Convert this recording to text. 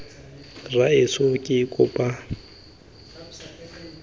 rraetsho ke kopa tshwarelo fa